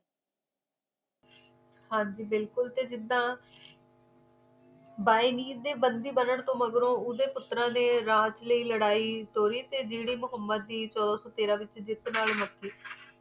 ਹਾਂਜੀ ਬਿਲੁਕਲ ਜਿੰਦਾ ਬੁਏਨੀਰ ਦੇ ਬੰਦੀ ਬਣ ਤੋਂ ਮਗਰੋਂ ਓਦੇ ਪੁੱਤਰਾ ਦੇ ਰਾਜ ਚਲੜਾਈ ਤੋਹਿਤ ਜੇੜੀ ਮੁਹੱਮਦ ਦੀ ਤ ਤੇਰਾਂ ਵਿੱਚ ਜੀਤ ਨਾਲ ਮੁਕੀ